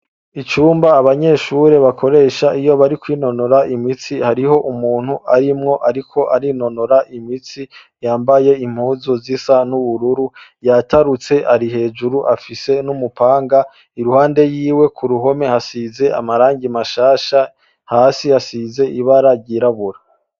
Icumba abanyeshure bakoresha iyo bari kwinonora imitsi hariho umuntu arimwo, ariko arinonora imitsi yambaye impuzu z'isa n'ubururu yatarutse ari hejuru afise n'umupanga iruhande yiwe ku ruhome hasize amaranga mashasha hasi hasize ibara ryirabura.